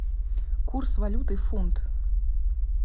курс валюты фунт